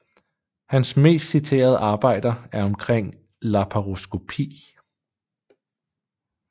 Hans mest citerede arbejder er omkring laparoskopi